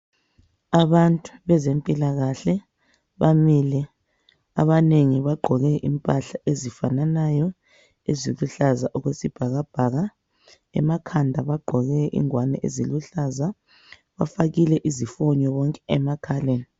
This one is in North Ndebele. Abantu bezempilakahle bamile. Abanengi bagqoke impahla ezifananayo, eziluhlaza okwesibhakabhaka. Emakhanda bagqoke ingwane eziluhlaza. Bafakile izifonyo bonke emakhaleni.